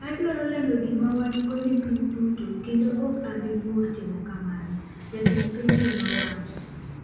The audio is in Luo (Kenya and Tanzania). "Adwaro lando gima wan-go ne piny duto kendo ok abi ng'ur timo kamano", jatend pinyno nowacho.